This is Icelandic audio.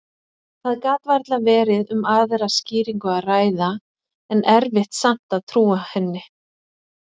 Það gat varla verið um aðra skýringu að ræða, en erfitt samt að trúa henni.